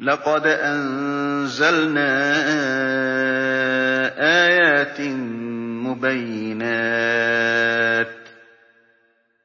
لَّقَدْ أَنزَلْنَا آيَاتٍ مُّبَيِّنَاتٍ ۚ